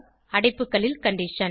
அடைப்புகளில் கண்டிஷன்